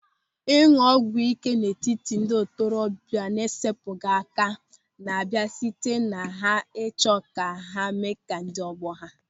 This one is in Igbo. Ịñụ ọgwụ ị́ké n'etiti ndị ntorobịa na-esepụghị aka na-abịa site na ha ịchọ ka ha mee ka ndị ọgbọ ha.